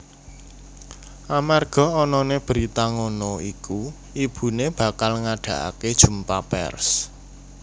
Amarga anané berita ngono iku ibuné bakal ngadakaké jumpa pers